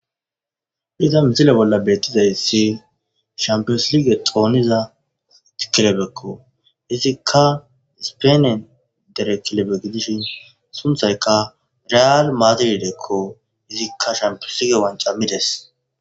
Iza misile bolla beettizayssi shampiyosilige xooniza tkilebekko izikka ispenen derekilebe gidishin sunthayka reaal maadiridekko izikka shampiosige wancammides